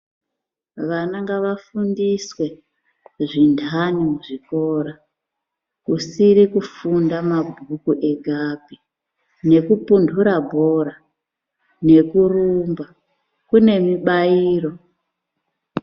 Vana ngavafundiswe zvintani muzvikora kusiri kufunda mabhuku egapi nekupuntura bhora nekurumba kune mibairo.